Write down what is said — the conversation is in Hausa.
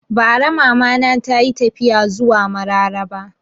Bara Mama na tayi tafiya zuwa Mararaba